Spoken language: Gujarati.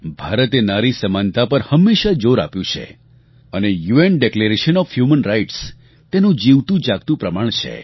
ભારતે નારી સમાનતા પર હંમેશા જોર આપ્યું છે અને UN declaration O F human rights તેનું જીવતુંજાગતું પ્રમાણ છે